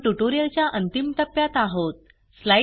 आपण ट्युटोरियलच्या अंतिम टप्प्यात आहोत